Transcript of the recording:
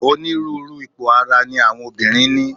Onírúurú ipò ara ni àwọn obìnrin ní.